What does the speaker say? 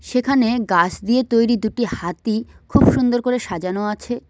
সেখানে গাস দিয়ে তৈরি দুটি হাতি খুব সুন্দর করে সাজানো আছে।